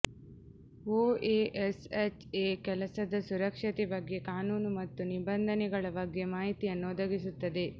OSHA ಕೆಲಸದ ಸುರಕ್ಷತೆ ಬಗ್ಗೆ ಕಾನೂನು ಮತ್ತು ನಿಬಂಧನೆಗಳ ಬಗ್ಗೆ ಮಾಹಿತಿಯನ್ನು ಒದಗಿಸುತ್ತದೆ